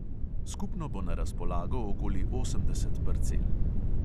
Skupno bo na razpolago okoli osemdeset parcel.